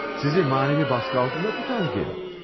Sizi mənəvi basqı altında tutan kim?